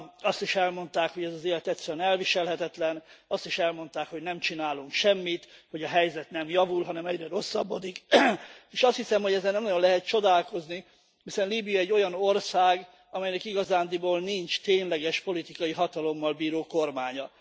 Azt is elmondták, hogy ez az élet egyszerűen elviselhetetlen, azt is elmondták, hogy nem csinálunk semmit, hogy a helyzet nem javul, hanem egyre rosszabbodik, és azt hiszem, hogy ezen nem nagyon lehet csodálkozni, hiszen Líbia egy olyan ország, amelynek igazándiból nincs tényleges politikai hatalommal bíró kormánya.